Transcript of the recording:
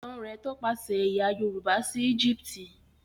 Ìtàn rẹ tọpasẹ ẹyà yorùbá sí Egipti.